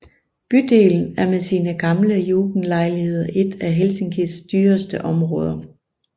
Bydelen er med sine gamle jugendlejligheder et af Helsinkis dyreste områder